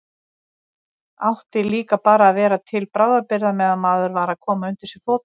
Átti líka bara að vera til bráðabirgða meðan maður var að koma undir sig fótunum.